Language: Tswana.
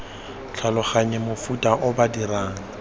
tlhaloganye mofuta o ba dirang